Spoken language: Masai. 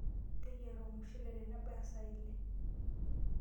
Teyera ormushule tenebaya saa ile.